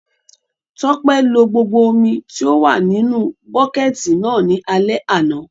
Tọ́pẹ́ lo gbogbo omi tí ó wà nínu bọ́kẹ̀tì náà ní alẹ́ àná